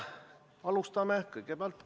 Alustame kohaloleku kontrolliga.